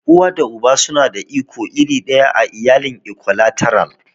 Uwa da Uba suna da iko iri ɗaya a iyalin Ikwalateral.